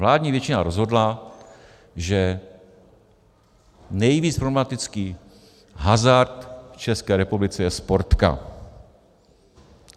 Vládní většina rozhodla, že nejvíc problematický hazard v České republice je Sportka.